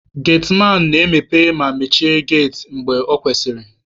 Getiman na-emepe ma na emechi geti mgbe ọ kwesịrị.